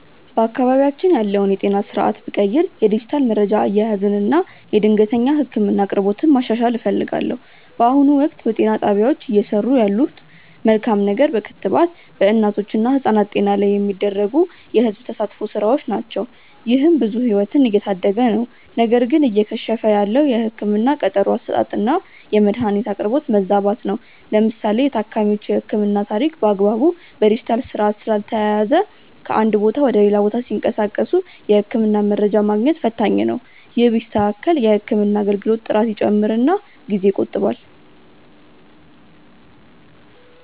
በአካባቢያችን ያለውን የጤና ስርዓት ብቀይር የዲጂታል መረጃ አያያዝን እና የድንገተኛ ህክምና አቅርቦትን ማሻሻል እፈልጋለሁ። በአሁኑ ወቅት፣ በጤና ጣቢያዎች እየሰሩ ያለት መልካም ነገር በክትባት በእናቶች እና ህጻናት ጤና ላይ የሚደረጉ የህዝብ ተሳትፎ ስራዎች ናቸው። ይህም ብዙ ህይወትን እየታደገ ነው። ነገር ግን እየከሸፈ ያለው የህክምና ቀጠሮ አሰጣጥና የመድኃኒት አቅርቦት መዛባት ነው። ለምሳሌ የታካሚዎች የህክምና ታሪክ በአግባቡ በዲጂታል ስርዓት ስላልተያያዘ ከአንድ ቦታ ወደ ሌላ ቦታ ሲንቀሳቀሱ የህክምና መረጃ ማግኘት ፈታኝ ነው። ይህ ቢስተካከል የህክምና አገልግሎት ጥራት ይጨምርና ጊዜ ይቆጥባል።